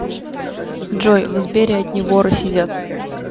джой в сбере одни воры сидят